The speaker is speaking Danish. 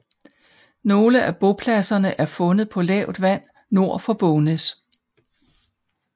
Nogle af bopladserne er fundet på lavt vand nord for Bognæs